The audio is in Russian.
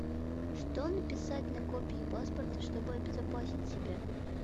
что написать на копии паспорта чтобы обезопасить себя